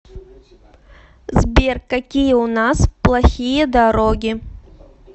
сбер какие у нас плохие дороги